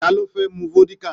Ta ló fẹ́ mu vódíkà?